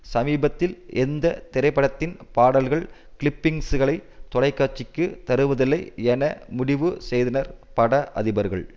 சமீபத்தில் எந்த திரைப்படத்தின் பாடல்கள் கிளிப்பிங்ஸ்களை தொலை காட்சிக்கு தருவதில்லை என முடிவு செய்தனர் பட அதிபர்கள்